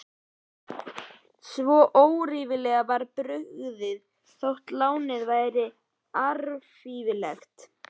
Svo óríflega var byggt, þótt lánið væri allríflegt.